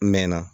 N mɛɛnna